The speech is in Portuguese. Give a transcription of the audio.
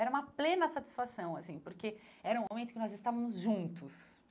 Era uma plena satisfação, assim, porque era um momento que nós estávamos juntos.